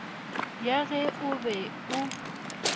ya ge o be o